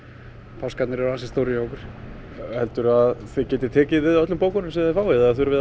páskarnir eru ansi stórir hjá okkur helduru að þið getið tekið við öllum bókunum sem þið fáið eða þurfið